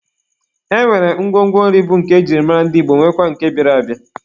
E nwere ngwongwo nri bụ nke e ji mara ndị Igbo nwekwaa nke bịara abịa.